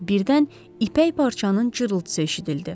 Birdən ipək parçanın cırrıtısı eşidildi.